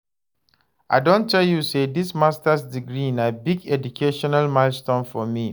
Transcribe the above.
I don tell you sey dis masters degree na big educational milestone for me.